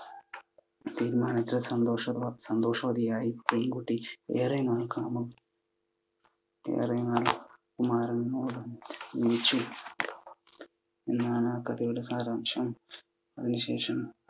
തീരുമാനത്തോട് സന്തോഷ~സന്തോഷവതിയായി പെൺകുട്ടി ഏറെ നാൾ കുമാരനോട് ജീവിച്ചു എന്നാണ് കഥയുടെ സാരാംശം. അതിനു ശേഷം